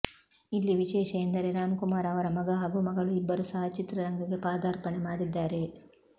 ಇಲ್ಲಿ ವಿಶೇಷ ಎಂದರೆ ರಾಮ್ ಕುಮಾರ್ ಅವರ ಮಗ ಹಾಗೂ ಮಗಳು ಇಬ್ಬರು ಸಹ ಚಿತ್ರರಂಗಕ್ಕೆ ಪಾದಾರ್ಪಣೆ ಮಾಡಿದ್ದಾರೆ